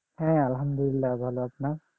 হ্যাঁ আলহামদুলিল্লাহ ভালো আপনার?